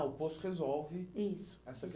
Ah, o poço resolve, isso, essa